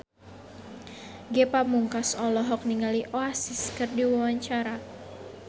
Ge Pamungkas olohok ningali Oasis keur diwawancara